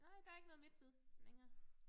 Nej der ikke noget MidtSyd længere